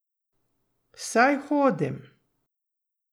Saj hodim.